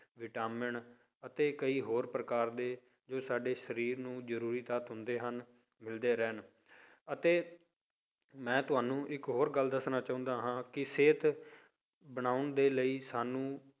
Vitamin ਅਤੇ ਕਈ ਹੋਰ ਪ੍ਰਕਾਰ ਦੇ ਜੋ ਸਾਡੇ ਸਰੀਰ ਨੂੰ ਜ਼ਰੂਰੀ ਤੱਤ ਹੁੰਦੇ ਹਨ ਮਿਲਦੇ ਰਹਿਣ ਅਤੇ ਮੈਂ ਤੁਹਾਨੂੰ ਇੱਕ ਹੋਰ ਗੱਲ ਦੱਸਣਾ ਚਾਹੁੰਦਾ ਹਾਂ ਕਿ ਸਿਹਤ ਬਣਾਉਣ ਦੇ ਲਈ ਸਾਨੂੰ